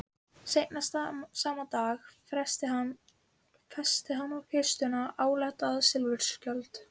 Seinna sama dag festi hann á kistuna áletraðan silfurskjöld.